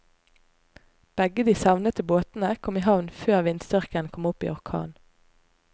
Begge de savnede båtene kom i havn før vindstyrken kom opp i orkan.